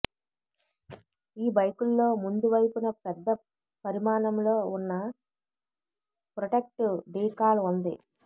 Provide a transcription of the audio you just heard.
ఈ బైకుల్లో ముందు వైపున పెద్ద పరిమాణంలో ఉన్న ప్రొటెక్టివ్ డీకాల్ ఉంది